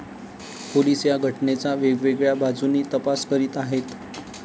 Police या घटनेचा वेगवेगळ्या बाजूंनी तपास करीत आहेत.